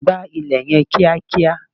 gbá ilẹ̀ yen kiakia!